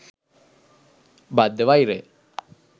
බද්ධ වෛරය